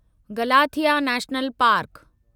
Galathea National park